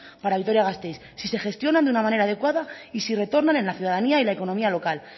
para vitoria gasteiz si se gestionan de una manera adecuada y si retornan en la ciudadanía y la economía local